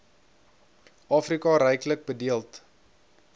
afrika ryklik bedeeld